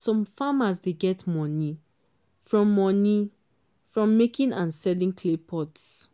some farmers dey get money from money from making and selling clay pots.